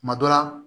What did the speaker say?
Kuma dɔ la